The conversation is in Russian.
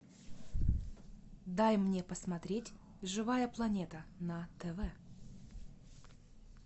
дай мне посмотреть живая планета на тв